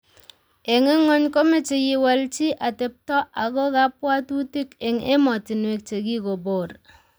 Eng ngony komechei iwal chi atepto ago kabwatutik, eng emotinwek chegikoboor